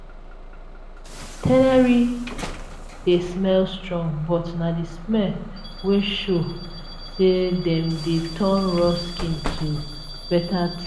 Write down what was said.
tannery dey smell strong but na the smell wey show say dem dey turn raw skin to better thing.